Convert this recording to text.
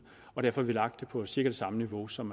og derfor har vi lagt det på cirka det samme niveau som